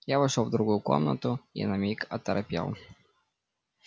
я вошёл в другую комнату и на миг оторопел